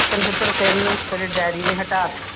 ਛਤਰ ਛਤਰ ਫਿਰਨ ਤੇਰੇ daddy ਨੇ ਹਟਾ ਦਿੱਤਾ